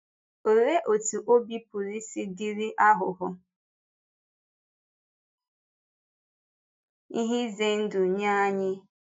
Olee otú ọ̀bì pụrụ isi dịrị aghụghọ — ihe ize ndụ nye anyị?